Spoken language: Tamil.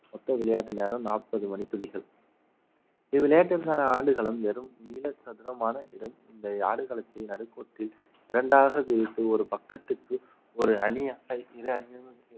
மொத்த விளையாட்டு நேரம் நாற்பது மணித்துளிகள் இவ்விளையாட்டிற்கான ஆடுகளம் வெறும் நீள சதுரமான இடம் இந்த ஆடுகளத்தை நடுக்கூட்டில் இரண்டாக பிரித்து ஒரு பக்கத்துக்கு ஒரு அணியாக இரு அணி